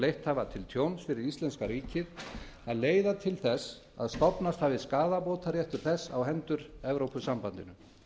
leitt hafa til tjóns fyrir íslenska ríkið að leiða til þess að stofnast hafi skaðabótaréttur þess á hendur evrópusambandinu